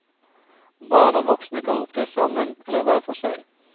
Barn og voksne kan opptre sammen eller hver for seg.